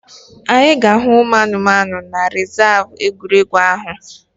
Anyị ga-ahụ ụmụ anụmanụ na rezav egwuregwu ahụ